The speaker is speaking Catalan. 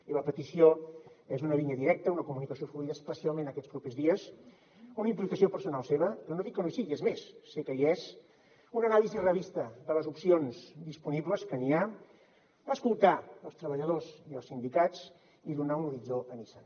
i la petició és una línia directa una comunicació fluida especialment aquests propers dies una implicació personal seva que no dic que no hi sigui és més sé que hi és una anàlisi realista de les opcions disponibles que n’hi ha escoltar els treballadors i els sindicats i donar un horitzó a nissan